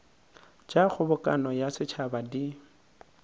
tša kgobokano ya setšhaba di